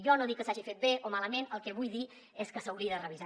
jo no dic que s’hagi fet bé o malament el que vull dir és que s’hauria de revisar